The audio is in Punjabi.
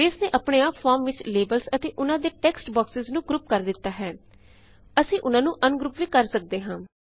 ਬੇਸ ਨੇ ਆਪਣੇ ਆਪ ਫੋਰਮ ਵਿੱਚ ਲੇਬਲਸ ਅਤੇ ਉਨਾਂ ਦੇ ਟੇਕਸਟ ਬੋਕ੍ਸੇਸ ਨੂੰ ਗ੍ਰੁਪ ਕਰ ਲਿੱਤਾ ਹੈ ਅਸੀਂ ਉਨਾਂ ਨੂੰ ਅਨਗ੍ਰੁਪ ਵੀ ਕਰ ਸਕਦੇ ਹਾਂ